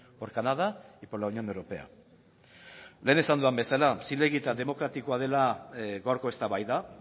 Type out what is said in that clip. por canadá y por la unión europea lehen esan dudan bezala zilegi eta demokratikoa dela gaurko eztabaida